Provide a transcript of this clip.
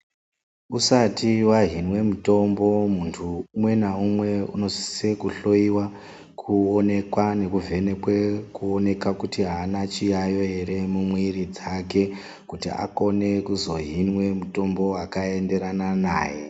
Usati wahinwa mutombo muntu unwe na umwe unosisira kuhloyiwa kuonekwa nekuvhenekwa kuoneka kuti haana chiyayiyo eree mumwiri dzake kuti akone kuzohinwa mitombo yakaenderana naye